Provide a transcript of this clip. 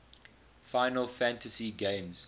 final fantasy games